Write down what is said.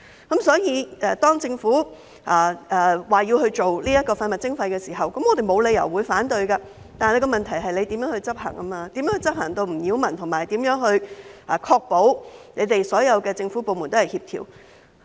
因此，當政府提出推行廢物徵費時，我們沒有理由反對，但問題在於如何執行，如何在執行上不擾民，並確保所有政府部門也協調。